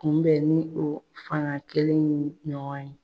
Kunbɛ ni o fanga kelen in ɲɔgɔn ye.